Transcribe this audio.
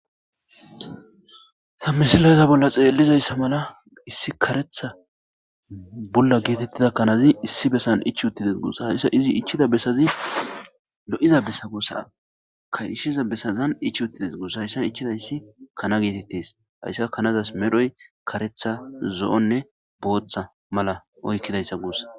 ta misileza bolla xeellizayssa mala issi karetha bulla geetettida kanazi issi bessan ichi uttidees gussa hayssa izi ichida bessazi lo7iza besa guussako ishshiza besazan ich uttides gusa hayssa ichidayssi kana geetettes haysika kanazas medhoy karetha zo7onne booththa mala oykkidayssa guussa